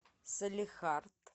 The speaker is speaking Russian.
салехард